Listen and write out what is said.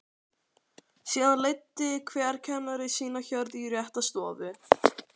Síðan leiddi hver kennari sína hjörð í rétta stofu.